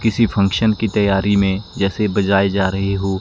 किसी फंक्शन की तैयारी में जैसे बजाए जा रहे हो--